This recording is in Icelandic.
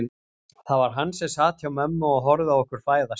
Það var hann sem sat hjá mömmu og horfði á okkur fæðast.